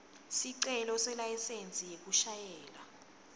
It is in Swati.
sicelo selayisensi yekushayela